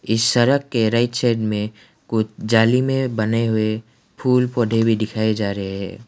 इस सड़क के राइट साइड में कुछ जाली में बने हुए फूल पौधे भी दिखाई जा रहे है।